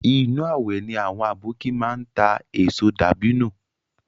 Inu awẹ ni àwọn aboki máa ń ta èso dàbínù